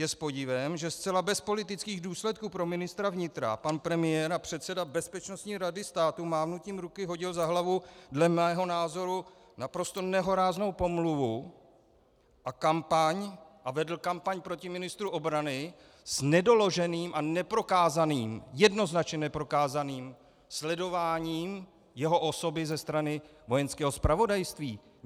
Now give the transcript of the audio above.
Je s podivem, že zcela bez politických důsledků pro ministra vnitra pan premiér a předseda Bezpečnostní rady státu mávnutím ruky hodil za hlavu dle mého názoru naprosto nehoráznou pomluvu a vedl kampaň proti ministru obrany s nedoloženým a neprokázaným, jednoznačně neprokázaným sledováním jeho osoby ze strany Vojenského zpravodajství.